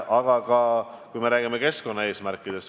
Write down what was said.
Meil on ju ka keskkonda puudutavad eesmärgid.